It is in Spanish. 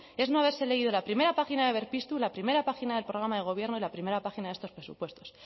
es no haberse leído la primera página de berpiztu la primera página del programa de gobierno y la primera página de estos presupuestos